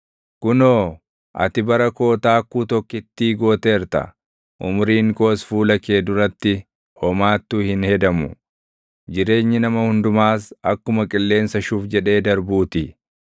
Kunoo, ati bara koo taakkuu tokkittii gooteerta; umuriin koos fuula kee duratti homaattuu hin hedamu; jireenyi nama hundumaas akkuma qilleensa shuf jedhee darbuu ti.